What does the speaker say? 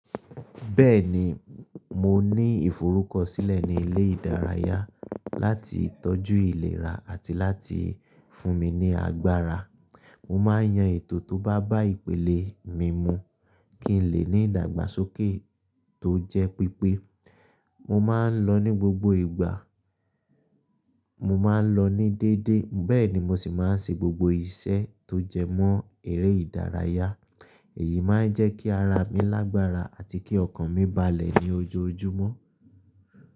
Bẹ́ẹ̀ni, mo ní ìforúkọ sílẹ̀ ní ilé ìdárayá láti tọ́jú ìlera àti láti fún mi ní agbára. Mo máa ń yan ètò tó bá bá ìpele mímu kí n lè ní ìdàgbàsókè tó jẹ́ pípé. Mo máa ń lọ ní gbogbo ìgbà, mo máa ń lọ ní déédéé, bẹ́ẹ̀ ni mo sì máa ń ṣe gbogbo iṣẹ́ tó jẹmọ́ eré ìdárayá. Èyí máa ń jẹ́ kí ara mi lágbára àti kí ọkàn mi balẹ̀ ní ojoojúmọ́